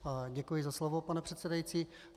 Děkuji za slovo, pane předsedající.